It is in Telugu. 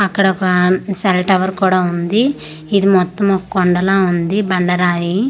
అక్కడ ఒక సెల్ టవర్ కూడా ఉంది ఇది మొత్తం ఒక కొండలా ఉంది బండరాయి.